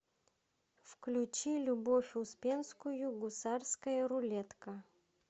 включи любовь успенскую гусарская рулетка